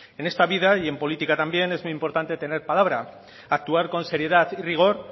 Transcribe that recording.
en esta vida y en política también es muy importante tener palabra actuar con seriedad y rigor